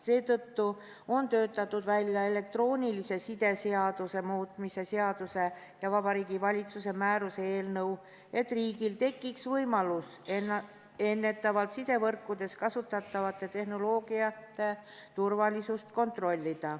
Seetõttu ongi töötatud välja elektroonilise side seaduse muutmise seaduse ja Vabariigi Valitsuse määruse eelnõu, et riigil tekiks võimalus juba ennetavalt kontrollida sidevõrkudes kasutatavate tehnoloogiate turvalisust.